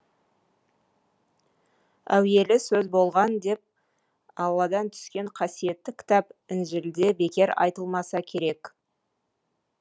әуелі сөз болған деп алладан түскен қасиетті кітап інжілде бекер айтылмаса керек